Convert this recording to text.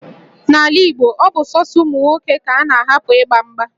N'ala Igbo, ọ bụ sọsọ ụmụ nwoke ka a na-ahapụ ịgba mgba